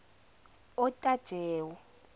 otajewo